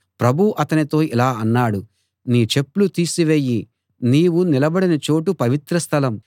ప్రభువు అతనితో ఇలా అన్నాడు నీ చెప్పులు తీసివెయ్యి నీవు నిలబడిన చోటు పవిత్ర స్థలం